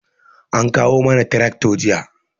An kawo mana tirakto jiya